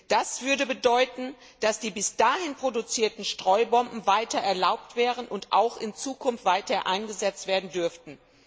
Das würde bedeuten, dass die danach produzierten Streubomben weiter erlaubt wären und auch in Zukunft weiter eingesetzt werden dürften.